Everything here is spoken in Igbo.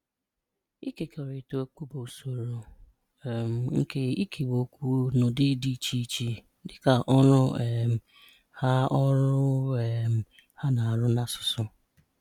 Ịkekọrịta okwu bụ usoro um nke ikewa okwu n'ụdị dị iche iche dika ọrụ um ha ọrụ um ha na-arụ na asụsụ.